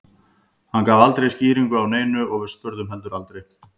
Hann gaf aldrei skýringu á neinu og við spurðum heldur aldrei.